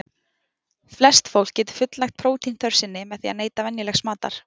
Flest fólk getur fullnægt prótínþörf sinni með því að neyta venjulegs matar.